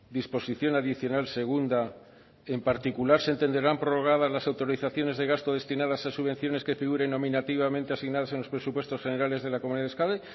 disposición adicional segunda en particular se entenderán prorrogadas las autorizaciones de gasto destinadas a subvenciones que figuren nominativamente asignadas en los presupuestos generales de la comunidad de euskadi